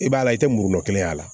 I b'a la i tɛ murun kelen y'a la